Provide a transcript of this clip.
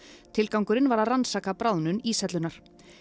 tilgangurinn var að rannsaka bráðnun íshellunnar